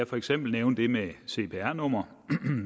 for eksempel nævne det med cpr numre